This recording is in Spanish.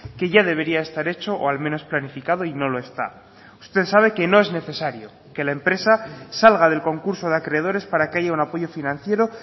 que ya debería estar hecho o al menos planificado y no lo está usted sabe que no es necesario que la empresa salga del concurso de acreedores para que haya un apoyo financiero